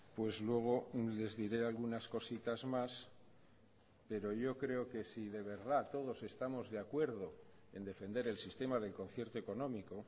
pues luego les diré algunas cositas más pero yo creo que si de verdad todos estamos de acuerdo en defender el sistema del concierto económico